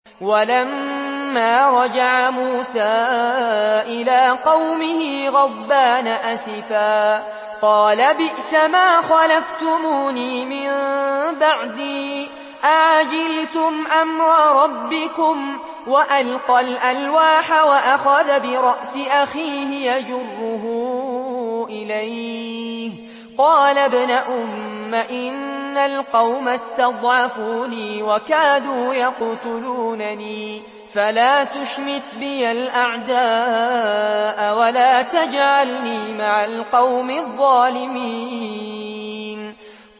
وَلَمَّا رَجَعَ مُوسَىٰ إِلَىٰ قَوْمِهِ غَضْبَانَ أَسِفًا قَالَ بِئْسَمَا خَلَفْتُمُونِي مِن بَعْدِي ۖ أَعَجِلْتُمْ أَمْرَ رَبِّكُمْ ۖ وَأَلْقَى الْأَلْوَاحَ وَأَخَذَ بِرَأْسِ أَخِيهِ يَجُرُّهُ إِلَيْهِ ۚ قَالَ ابْنَ أُمَّ إِنَّ الْقَوْمَ اسْتَضْعَفُونِي وَكَادُوا يَقْتُلُونَنِي فَلَا تُشْمِتْ بِيَ الْأَعْدَاءَ وَلَا تَجْعَلْنِي مَعَ الْقَوْمِ الظَّالِمِينَ